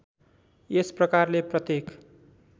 यस प्रकारले प्रत्येक